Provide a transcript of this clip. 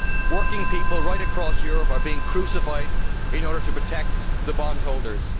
Working people right across Europe are being crucified in order to protect the bondholders.